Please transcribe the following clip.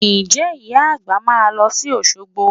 Ǹjẹ́ Ìyá àgbà máa lọ sí Òṣogbo?